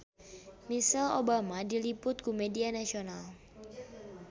Michelle Obama diliput ku media nasional